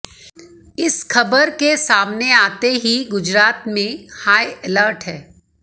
इस खबर के सामने आते ही गुजरात में हाई अलर्ट है